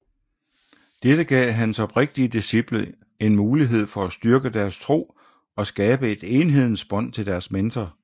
Dette gav hans oprigtige disciple en mulighed for at styrke deres tro og skabe et enhedens bånd til deres mentor